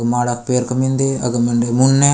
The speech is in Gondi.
माडा पेयर के मिन्दे अग मंडे मुने।